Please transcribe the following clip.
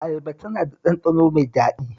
Ayaba tana da ɗanɗano mai daɗi